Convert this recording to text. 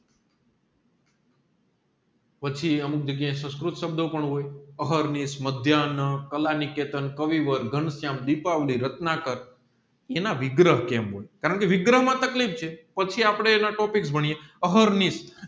પછી અમુક જગ્યા એ સંસ્કૃત શબ્દો પણ હોય એના વિગ્રહ કેમ હોય કારણ કે વિગ્રહ માં તકલીફ છે પછી આપણે એના ટોપિક્સ ભણીયે